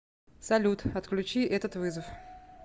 салют отключи этот вызов